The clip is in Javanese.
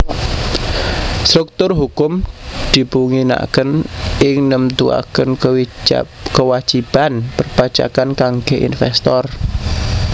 Struktur hukum dipunginaaken ing nemtuaken kewajiban perpajakan kangge investor